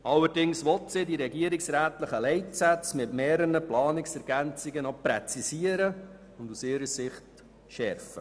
Allerdings will sie die regierungsrätlichen Leitsätze mit mehreren ergänzenden Planungserklärungen präzisieren und aus ihrer Sicht schärfen.